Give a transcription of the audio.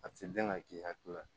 A ti gɛn ka k'i hakili la